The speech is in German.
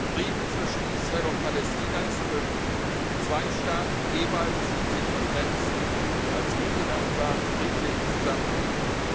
Frieden zwischen Israel und Palästina ist möglich zwei Staaten jeweils in sicheren Grenzen, als gute Nachbarn friedlich zusammenlebend.